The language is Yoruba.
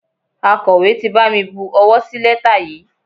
Akọ̀wé ti bami bu owó sí lẹ́tà yìí.